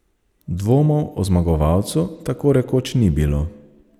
Dvomov o zmagovalcu tako rekoč ni bilo.